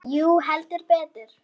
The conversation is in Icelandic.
Jú, heldur betur.